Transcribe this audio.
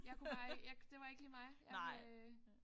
Jeg kunne bare ikke jeg det var ikke lige mig jeg vil